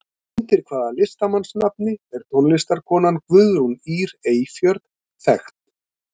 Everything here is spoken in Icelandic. Undir hvaða listamannsnafni er tónlistarkonan Guðrún Ýr Eyfjörð þekkt?